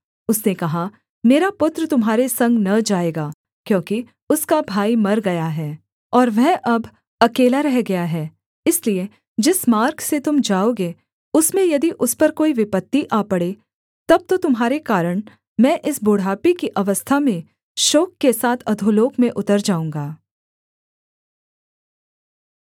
उसने कहा मेरा पुत्र तुम्हारे संग न जाएगा क्योंकि उसका भाई मर गया है और वह अब अकेला रह गया है इसलिए जिस मार्ग से तुम जाओगे उसमें यदि उस पर कोई विपत्ति आ पड़े तब तो तुम्हारे कारण मैं इस बुढ़ापे की अवस्था में शोक के साथ अधोलोक में उतर जाऊँगा